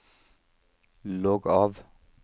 logg av